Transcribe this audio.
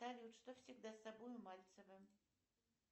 салют что всегда с собой у мальцева